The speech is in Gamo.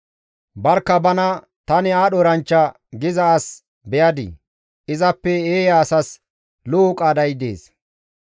Barkka bana, «Tani aadho eranchcha» giza as beyadii? Izappe eeya asas lo7o qaaday dees.